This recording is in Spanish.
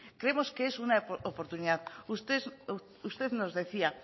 creemos que es una oportunidad usted nos decía